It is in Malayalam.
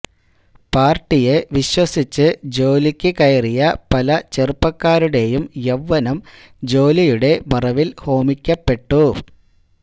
പാർട്ടിയെ വിശ്വസിച്ച് ജോലിക്ക് കയറിയ പലചെറുപ്പക്കാരുടെയും യൌവനം ജോലിയുടെ മറവിൽ ഹോമിക്കപ്പെട്ടു